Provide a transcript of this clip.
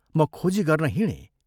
म खोजी गर्न हिंडे।